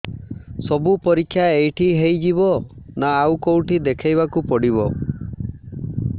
ସବୁ ପରୀକ୍ଷା ଏଇଠି ହେଇଯିବ ନା ଆଉ କଉଠି ଦେଖେଇ ବାକୁ ପଡ଼ିବ